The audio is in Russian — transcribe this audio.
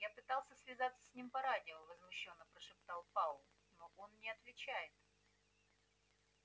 я пытался связаться с ним по радио возмущённо прошептал пауэлл но он не отвечает